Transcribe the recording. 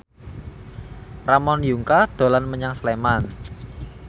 Ramon Yungka dolan menyang Sleman